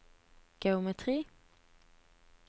geometri